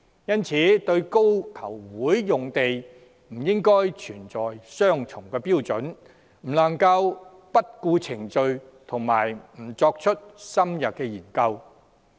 因此，對高球場用地不應存在雙重標準，不能不顧程序及不作深入研究。